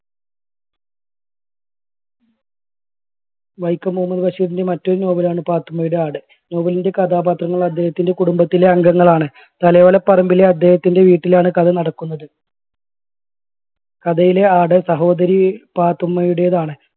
വൈക്കം മുഹമ്മദ് ബഷീറിൻറെ മറ്റൊരു novel ണ് പാത്തുമ്മയുടെ ആട്. novel ന്റെ കഥാപാത്രങ്ങൾ അദ്ദേഹത്തിൻറെ കുടുംബത്തിലെ അംഗങ്ങളാണ് തലയോലപ്പറമ്പിലെ അദ്ദേഹത്തിൻറെ വീട്ടിലാണ് കഥ നടക്കുന്നത്. കഥയിലെ ആട് സഹോദരി പാത്തുമ്മയുടെതാണ്.